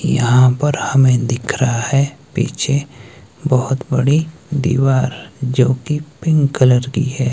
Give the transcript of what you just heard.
यहां पर हमें दिख रहा है पीछे बहोत बड़ी दीवार जो कि पिंक कलर की है।